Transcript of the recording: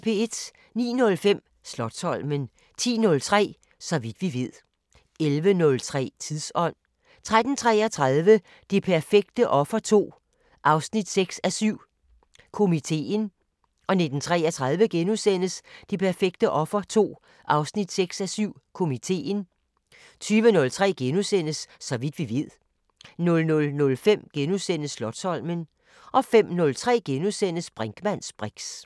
09:05: Slotsholmen 10:03: Så vidt vi ved 11:03: Tidsånd 13:33: Det perfekte offer 2, 6:7 – Komiteen 19:33: Det perfekte offer 2, 6:7 – Komiteen * 20:03: Så vidt vi ved * 00:05: Slotsholmen * 05:03: Brinkmanns briks *